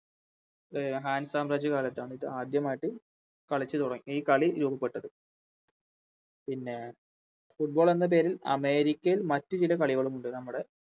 അഹ് Han സാംബ്രാജ്യകാലത്താണ് ഇതാദ്യമായിട്ട് കളിച്ച് തുടങ്ങിയ ഈ കളി രൂപപ്പെട്ടത് പിന്നെ Football എന്ന പേരിൽ അമേരിക്കയിൽ മറ്റു ചില കളികളുമുണ്ട് നമ്മുടെ